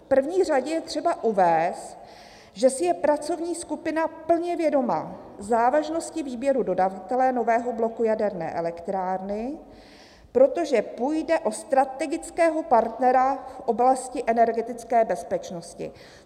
V první řadě je třeba uvést, že si je pracovní skupina plně vědoma závažnosti výběru dodavatele nového bloku jaderné elektrárny, protože půjde o strategického partnera v oblasti energetické bezpečnosti."